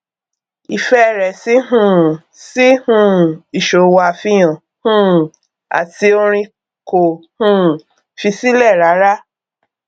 ìfẹ rẹ sí um sí um ìṣòwò àfihàn um àti orin kò um fi sílẹ rárá